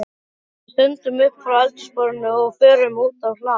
Við stöndum upp frá eldhúsborðinu og förum út á hlað.